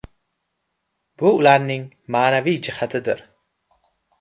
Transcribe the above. Bu ularning ma’naviy jihatidir.